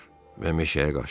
Və meşəyə qaçdılar.